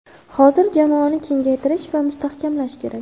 Hozir jamoani kengaytirish va mustahkamlash kerak.